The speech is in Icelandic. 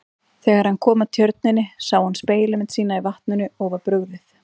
Þegar hann kom að tjörninni sá hann spegilmynd sína í vatninu og var brugðið.